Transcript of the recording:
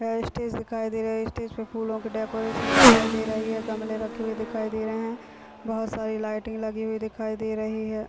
वहाँ स्टेज दिखाई दे रहा है स्टेज पे फूलो की डेकोरेक्शन दिखाई दे रही है गमले रखे हुए दिखाई दे रहे है बहोत सारी लाइटिंग लगी हुई दिखाई दे रही है।